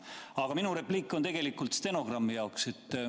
Aga minu repliik on tegelikult stenogrammi jaoks.